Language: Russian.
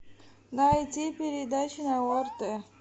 найди передачу на орт